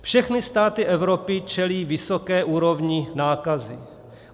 Všechny státy Evropy čelí vysoké úrovni nákazy.